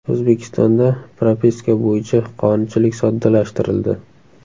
O‘zbekistonda propiska bo‘yicha qonunchilik soddalashtirildi.